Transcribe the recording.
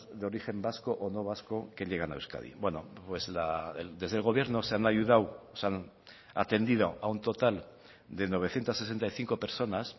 de origen vasco o no vasco que llegan a euskadi bueno pues desde el gobierno se han ayudado se han atendido a un total de novecientos sesenta y cinco personas